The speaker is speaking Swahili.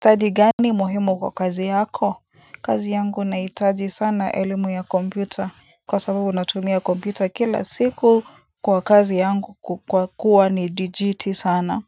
Ustadi gani muhimu kwa kazi yako Kazi yangu nahitaji sana elimu ya kompyuta kwa sababu natumia kompyuta kila siku kwa kazi yangu kwa kuwa ni dijiti sana.